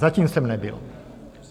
Zatím jsem nebyl.